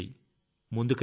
ముందుకు రండి